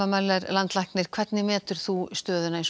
Möller landlæknir hvernig metur þú stöðuna í